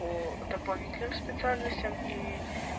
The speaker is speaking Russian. по дополнительным специальностям и